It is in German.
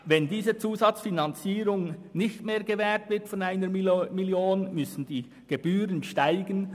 Wenn diese Zusatzfinanzierung nicht mehr gewährt würde, müssten die Gebühren steigen.